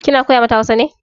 Kina koya mata Hausa ne?